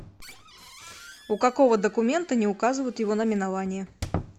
у какого документа не указывают его наименование